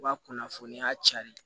U ka kunnafoniya cari